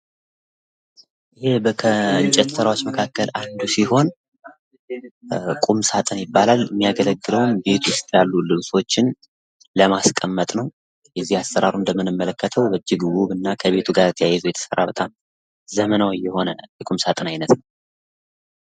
ከእንጨት ስራዎች መካከል አንዱ ሲሆን ቁም ሳጥን ይባላል የሚያገለግለውም ቤት ውስጥ ያሉ ልብሶችን ለማስቀመጥ ነው። የእዚህ አሰራሩን ብንመለከተው እጅግ ውብ እና ከቤቱ ጋር ተያይዞ የተሰራ ዘመናዊ የሆነ የቁም ሳጥን አይነት ነው።